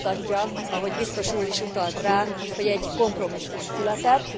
Ez is mutatja, ahogy biztos úr is utalt rá, hogy egy kompromisszum született.